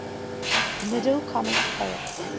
middle comic poets